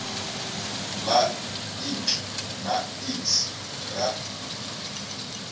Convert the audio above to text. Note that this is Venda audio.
ḽa ik na iks la